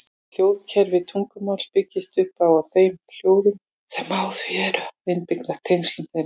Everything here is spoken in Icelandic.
Hljóðkerfi tungumáls byggist upp á þeim hljóðum sem í því eru og innbyrðis tengslum þeirra.